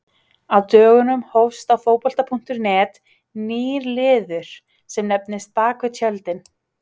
Á dögunum hófst á Fótbolta.net nýr liður sem nefnist Bakvið tjöldin.